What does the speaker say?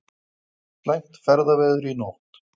Slæmt ferðaveður í nótt